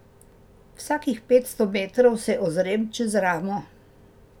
Vsakih petsto metrov se ozrem čez ramo.